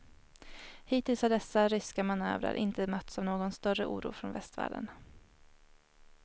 Hittills har dessa ryska manövrer inte mötts av någon större oro från västvärlden.